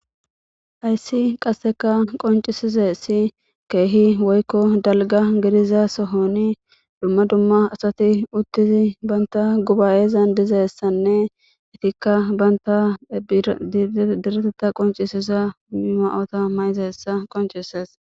Hayssi qasseka qoncisise si keehi woykko dalga giriza sohoni dumma dumma asati uttizi banta gubayezan dizessanne itikka banta direteta qoncisisa maota mayizeessa qoncises.